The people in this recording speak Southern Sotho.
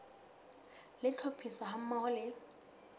le tlhophiso ha mmoho le